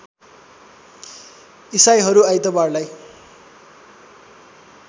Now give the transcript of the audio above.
इसाईहरू आइतबारलाई